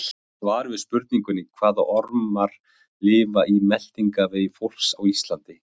Í svari við spurningunni Hvaða ormar lifa í meltingarvegi fólks á Íslandi?